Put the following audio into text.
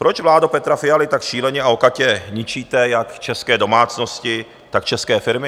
Proč, vládo Petra Fialy, tak šíleně a okatě ničíte jak české domácnosti, tak české firmy?